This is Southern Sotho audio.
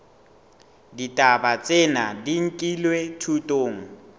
ditaba tsena di nkilwe thutong